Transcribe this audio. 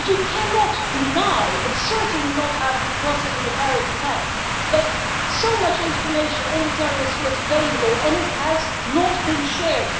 But you cannot deny and certainly not after the Brussels and Paris attacks that so much information on the terrorists was available and it has not been shared.